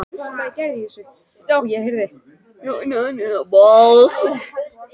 Heimilisföng mannanna voru birt undir myndunum